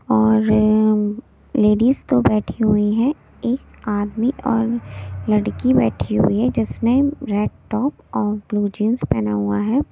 और लेडीज दो बैठी हुई हैं एक आदमी और लड़की बैठी हुई है जिसने रेड टॉप और ब्लू जींस पहना हुआ है।